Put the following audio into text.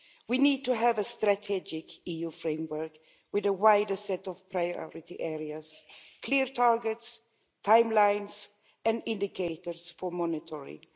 We need to have a strategic EU framework, with a wider set of priority areas, clear targets, timelines and indicators for monitoring.